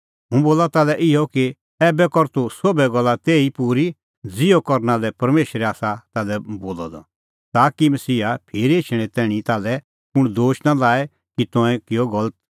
हुंह बोला ताल्है इहअ कि ऐबै कर तूह सोभै गल्ला तेही ई पूरी ज़िहअ करना लै परमेशरै आसा ताल्है बोलअ द ताकि मसीहा फिरी एछणैं तैणीं ताल्है कुंण दोश नां लाए कि तंऐं किअ गलत